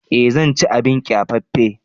Eh zan ci abin kyafaffen.